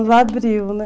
abriu, né?